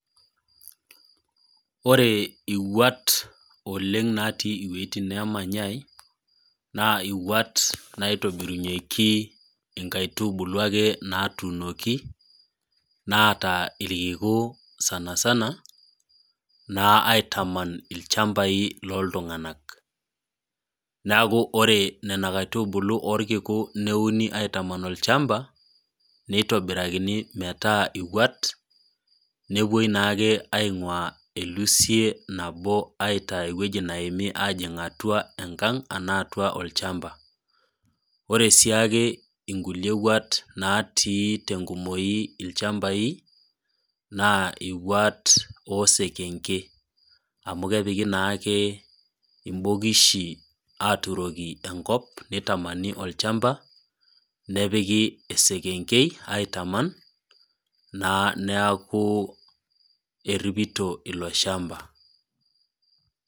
Ore iwuat, oleng' natii inwuetin naamanyai, naa iwuat naitobirunyeki inkaitubulu ake naatunoki, naata ilkiku sanisana naa aitaman ilchambai loo iltung'ana, neaku ore Nena kaitubulu neuni aitaman ilchamba, neitobirakini metaa iwuat nepuoi naake ainguaa elusive nabo aitaa ewueji Naomi ajing atua enkang' anaa atua olchamba. Ore sii ake iwuat natii tenkumoi ilchambai, naa iwuat oo isekenke, amu kepiki naake imbokishi aaturoki enkop, neitamani olchamba, nepiki esikengei aitaman, naa neaku eripito ilo chamba.